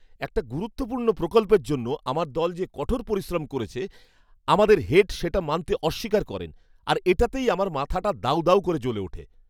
একটা গুরুত্বপূর্ণ প্রকল্পের জন্য আমার দল যে কঠোর পরিশ্রম করেছে আমাদের হেড সেটা মানতে অস্বীকার করেন আর এটাতেই আমার মাথাটা দাউ দাউ করে জ্বলে ওঠে!